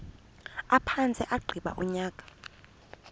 aphantse agqiba unyaka